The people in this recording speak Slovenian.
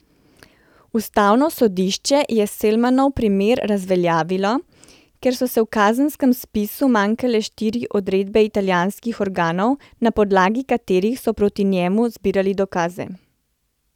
Ustavno sodišče je Selmanov primer razveljavilo, ker so v kazenskem spisu manjkale štiri odredbe italijanskih organov, na podlagi katerih so proti njemu zbirali dokaze.